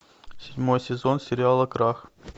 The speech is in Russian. седьмой сезон сериала крах